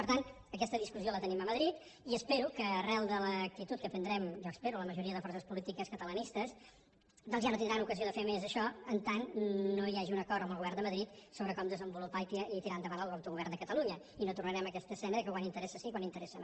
per tant aquesta discussió la tenim a madrid i espero que arran de l’actitud que prendrem jo ho espero la majoria de forces polítiques catalanistes doncs ja no tindran ocasió de fer més això en tant que no hi hagi un acord amb el govern de madrid sobre com desenvolupar i tirar endavant l’autogovern de catalunya i no tornarem a aquesta escena de quan interessa sí i quan interessa no